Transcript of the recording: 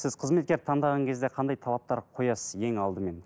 сіз қызметкерді таңдаған кезде қандай талаптар қоясыз ең алдымен